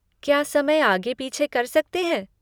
क्या समय आगे पीछे कर सकते हैं?